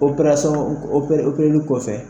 Operasɔn ope opereli kɔfɛ